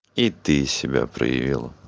и ты себя проявил